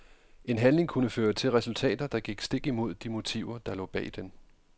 En handling kunne føre til resultater, der gik stik imod de motiver der lå bag den.